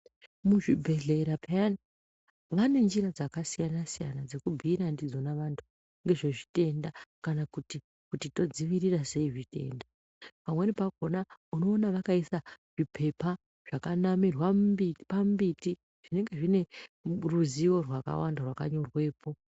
Muzvibhedhlera peyani vane njira dzakasiyana siyana dzekubhiira ndidzona vanthu ndezvezvitenda kanakuti kuti todzivirira sei zvitenda pamweni pakona unoona vakaisa zvipepa zvakanamirwa pamumbiti zvinenge zvine ruzivo rwakawanda rwakanyorwepo.